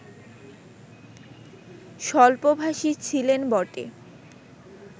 স্বল্পভাষী ছিলেন বটে